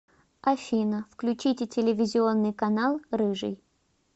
афина включите телевизионный канал рыжий